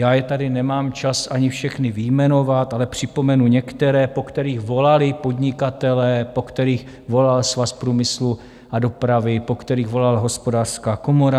Já je tady nemám čas ani všechny vyjmenovat, ale připomenu některé, po kterých volali podnikatelé, po kterých volal Svaz průmyslu a dopravy, po kterých volala Hospodářská komora.